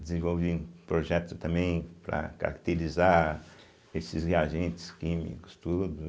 Desenvolvi um projeto também para caracterizar esses reagentes químicos, tudo.